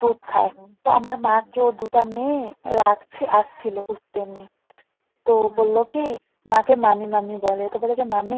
দুধ খাই তা আমার মা কে ওর দুটা মেয়ে রাখছে আসছিলো ঘুরতে এমনি তো বললো কি মা কে মামী মামী বলে তো বললো মামী